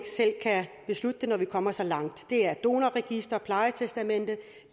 beslutte når de kommer så langt det er donorregister plejetestamente